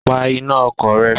Pa iná ọkọ̀ rẹ!